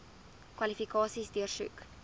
kwalifikasies deursoek